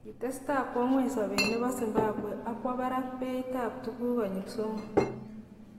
Kitestai kwo ngweny sobet nebo Zimbabwe ak kwo barak beit ab tuguk konyil somok.